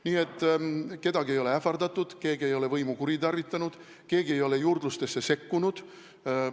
Nii et kedagi ei ole ähvardatud, keegi ei ole võimu kuritarvitanud, keegi ei ole juurdlustesse sekkunud.